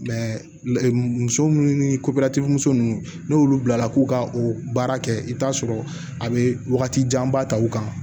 muso munnu ni muso nunnu n'olu bilala k'u ka o baara kɛ i bɛ t'a sɔrɔ a bɛ wagati janba ta u kan